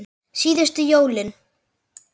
Síðustu jólin.